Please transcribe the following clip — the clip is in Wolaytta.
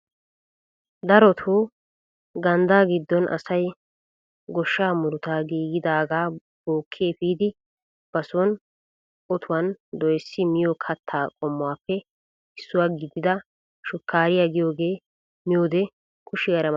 Darotoo ganddaa giddon asay gooshshaa muruta gididagaa bokki epiidi ba soni otuwaan doyssidi miyo kattaa qommuwaappe issuwaa gidida shukkariyaa giyooge miyoode kushiyaara ma ma gees!